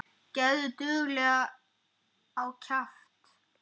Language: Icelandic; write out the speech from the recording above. Gefðu duglega á kjaft.